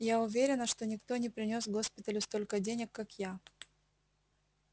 я уверена что никто не принёс госпиталю столько денег как я